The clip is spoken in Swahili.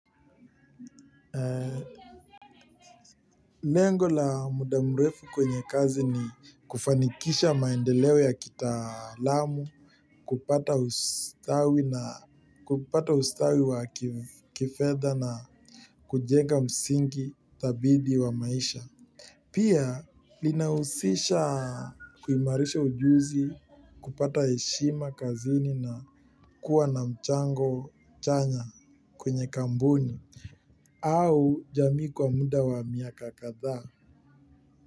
Lengo la muda mrefu kwenye kazi ni kufanikisha maendeleo ya kitaalamu, kupata ustawi wa kifedha na kujenga msingi dhabiti wa maisha. Pia linahusisha kuimarisha ujuzi kupata heshima kazini na kuwa na mchango chanya kwenye kampuni au jamii kwa muda wa miaka kadhaa.